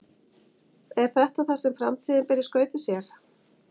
Er þetta það sem framtíðin ber í skauti sér?